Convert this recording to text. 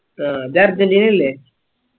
ആഹ് അത് അർജന്റീന അല്ലേ